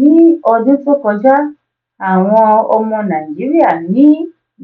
ní ọdún tó kọjá àwọn ọmọ nàìjíríà ní